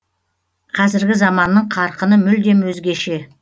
қазіргі заманның қарқыны мүлдем өзгеше